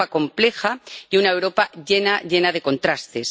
una Europa compleja y una Europa llena de contrastes